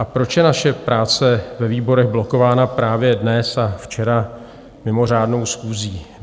A proč je naše práce ve výborech blokována právě dnes a včera mimořádnou schůzí?